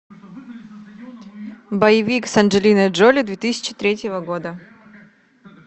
боевик с анджелиной джоли две тысячи третьего года